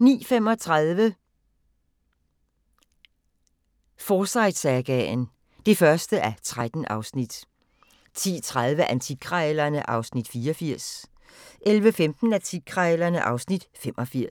09:35: Forsyte-sagaen (1:13) 10:30: Antikkrejlerne (Afs. 84) 11:15: Antikkrejlerne (Afs. 85)